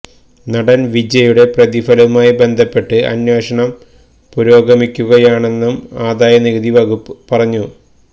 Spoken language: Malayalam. നടൻ വിജയ്യുടെ പ്രതിഫലവുമായി ബന്ധപ്പെട്ട് അന്വേഷണം പുരോഗമിക്കുകയാണെന്നും ആദായനികുതി വകുപ്പ് പറഞ്ഞു